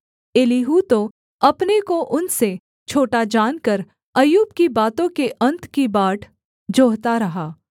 Elihu तो अपने को उनसे छोटा जानकर अय्यूब की बातों के अन्त की बाट जोहता रहा